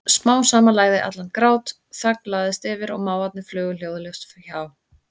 Smám saman lægði allan grát, þögn lagðist yfir og máfarnir flugu hljóðalaust hjá.